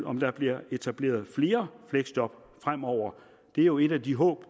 om der bliver etableret flere fleksjob fremover det er jo et af de håb